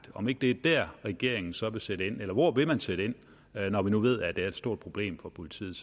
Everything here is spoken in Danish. om ikke det er dér regeringen så vil sætte ind eller hvor vil man sætte ind når vi nu ved at det er et stort problem for politiet